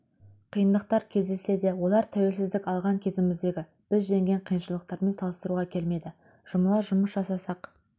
қиындықтар кездессе де олар тәуелсіздік алған кезіміздегі біз жеңген қиыншылықтармен салыстыруға келмейді жұмыла жұмыс жасасақ